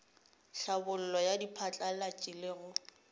tlhabollo ya diphatlalatši le go